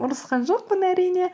ұрысқан жоқпын әрине